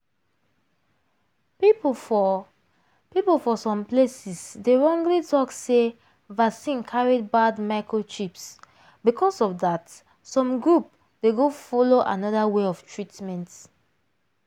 people for people for some places dey wrongly talk sey vaccine carrybad microchips because of that some group.dey go follow another way of treatment.